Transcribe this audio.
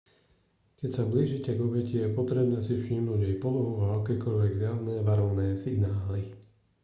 keď sa blížite k obeti je potrebné si všimnúť jej polohu a akékoľvek zjavné varovné signály